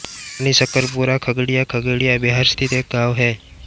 रानीशकरपुरा खगड़िया खगड़िया बिहार स्थित एक गाँव है